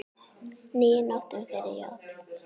níu nóttum fyrir jól